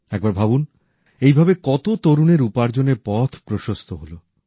একবার ভাবুন এইভাবে কত তরুণের উপার্জনের পথ প্রশস্ত হলো